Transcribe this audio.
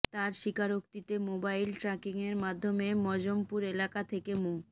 তার স্বীকারোক্তিতে মোবাইল ট্র্যাকিংয়ের মাধ্যমে মজমপুর এলাকা থেকে মো